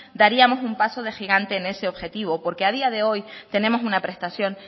daríamos un paso de gigante en ese objetivo porque a día de hoy tenemos una prestación